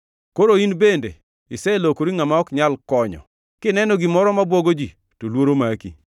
Koro in bende iselokori ngʼama ok nyal konyo; kineno gimoro mabwogo ji to luoro maki.